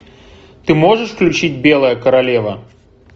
ты можешь включить белая королева